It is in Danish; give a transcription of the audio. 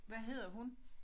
Hvad hedder hun?